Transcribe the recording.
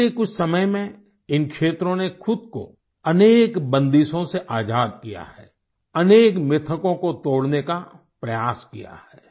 बीते कुछ समय में इन क्षेत्रों ने खुद को अनेक बंदिशों से आजाद किया है अनेक मिथकों को तोड़ने का प्रयास किया है